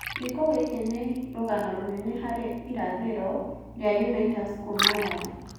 Gĩĩko gĩkĩ nĩ rũgano rũnene harĩ irathĩro rĩa Unaitas kuuma Rarii.